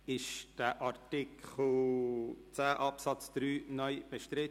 Ist Artikel 10 Absatz 3 (neu) bestritten?